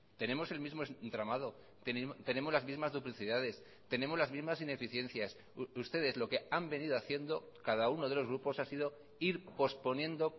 tenemos el mismo entramado tenemos las mismas duplicidades tenemos las mismas ineficiencias ustedes lo que han venido haciendo cada uno de los grupos ha sido ir posponiendo